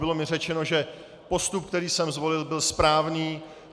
Bylo mi řečeno, že postup, který jsem zvolil, byl správný.